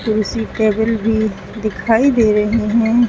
कुर्सी टेबल भी दिखाई दे रहे है।